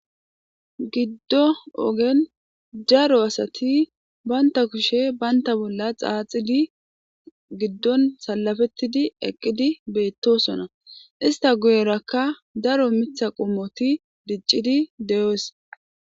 Giddo ogen daro asati baynta kushe baynta bolla xaaxidi giddon salafettidi eqqidi beettosona. ista guyerakka daro mitha qumoti diccidi deyoes.